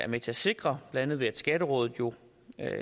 med til at sikre blandt andet ved at skatterådet jo